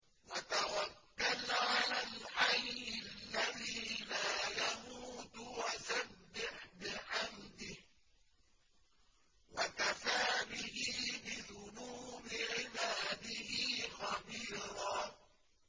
وَتَوَكَّلْ عَلَى الْحَيِّ الَّذِي لَا يَمُوتُ وَسَبِّحْ بِحَمْدِهِ ۚ وَكَفَىٰ بِهِ بِذُنُوبِ عِبَادِهِ خَبِيرًا